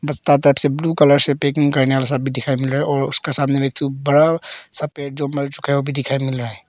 बस सात आठ ब्लू कलर से पैकिंग करने वाला सब दिखाइए और उसके सामने बड़ा सा पेड़ जो मर चुका है दिखाई मिल रहा है।